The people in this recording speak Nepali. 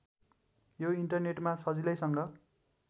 यो इन्टरनेटमा सजिलैसँग